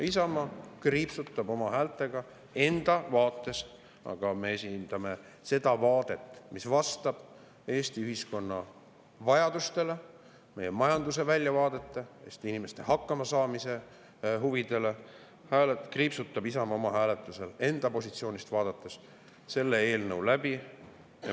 Isamaa kriipsutab oma häältega enda vaates – aga me esindame seda vaadet, mis vastab Eesti ühiskonna vajadustele, meie majanduse väljavaadete ja Eesti inimeste hakkamasaamise huvidele –, ta kriipsutab hääletusel enda positsioonilt vaadates selle eelnõu läbi.